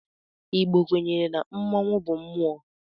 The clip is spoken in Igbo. Igbo kwenyere na mmọnwu bu mmụọ.